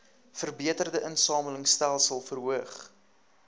verbeterde insamelingstelsels verhoog